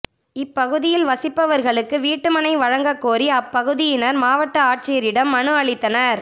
இப்பகுதியில் வசிப் பவர்களுக்கு வீட்டுமனை வழங்கக் கோரி அப்பகுதியினர் மாவட்ட ஆட்சி யரிடம் மனு அளித்தனர்